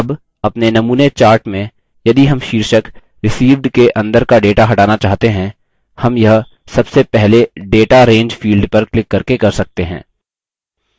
अब अपने नमूने chart में यदि हम शीर्षक received के अंदर का data हटाना चाहते हैं हम यह सबसे पहले data range field पर क्लिक करके कर सकते हैं